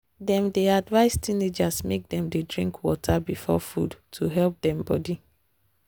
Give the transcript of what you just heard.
dem dey advise teenagers make dem dey drink water before food to help dem body.